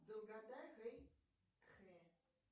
долгота хэйхэ